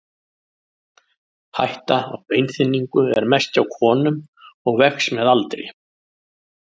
Hætta á beinþynningu er mest hjá konum og vex með aldri.